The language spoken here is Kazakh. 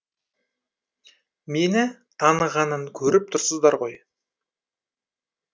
мені танығанын көріп тұрсыздар ғой